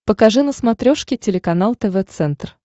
покажи на смотрешке телеканал тв центр